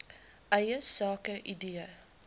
eie sake idee